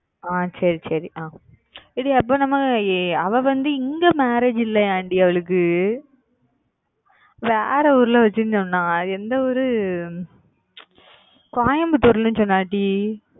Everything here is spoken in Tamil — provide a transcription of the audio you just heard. ஆஹ் சரிசரி ஆஹ் ஏன்டி அப்போ நம்ம அவ வந்து இங்க marriage இல்லையாம் டி அவளுக்கு வேற ஊருல வெச்சேன்னு சொன்னா அது எந்த ஊரு Coimbatore ன்னு சொன்னா டி